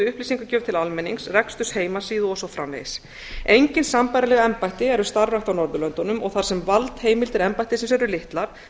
upplýsingagjöf til almennings reksturs heimasíðu og svo framvegis engin sambærileg embætti eru starfrækt á norðurlöndunum og þar sem valdheimildir embættisins eru litlar